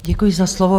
Děkuji za slovo.